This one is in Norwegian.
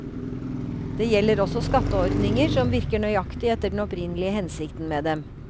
Det gjelder også skatteordninger som virker nøyaktig etter den opprinnelige hensikten med dem.